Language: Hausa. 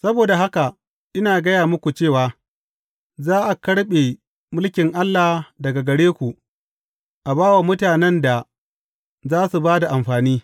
Saboda haka, ina gaya muku cewa za a karɓe mulkin Allah daga gare ku, a ba wa mutanen da za su ba da amfani.